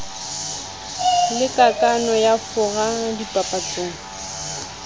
le kakano ya fora dipapatso